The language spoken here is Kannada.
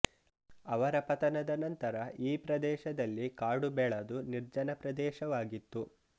ಅವರ ಪತನದ ನಂತರ ಈ ಪ್ರದೇಶದಲ್ಲಿ ಕಾಡು ಬೆಳದು ನಿರ್ಜನ ಪ್ರದೇಶವಾಗಿತ್ತು